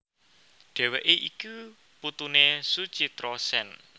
Dheweké iku putuné Suchitra Sen